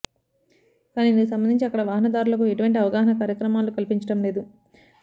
కాని ఇందుకు సంబంధించి అక్కడ వాహనదారులకు ఎటువంటి అవగాహన కార్యక్రమాలు కల్పించడం లేదు